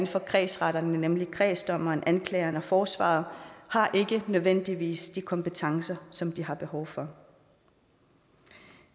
for kredsretterne nemlig kredsdommer anklager og forsvarer har ikke nødvendigvis de kompetencer som de har behov for